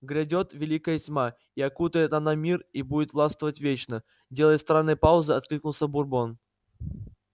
грядёт великая тьма и окутает она мир и будет властвовать вечно делая странные паузы откликнулся бурбон